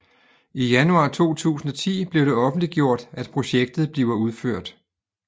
I januar 2010 blev det offentliggjort at projektet bliver udført